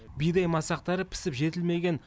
бидай масақтары пісіп жетілмеген